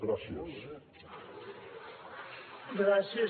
gràcies